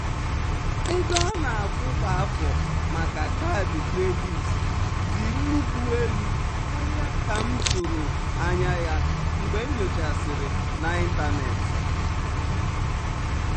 ego a na-akwụ kwa afọ um maka kaadị kredit dị nnukwu elu karịa ka m um tụrụ anya ya mgbe m nyochasịrị n'ịntanetị.